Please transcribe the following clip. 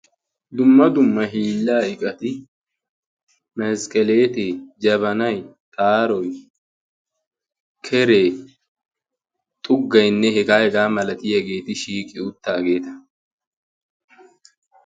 dumma dumma hiillaa iqati masqqeleetee jabanay taaroy keree xuggaynne hegaa hegaa malati haageeti shiiqi uttaageeta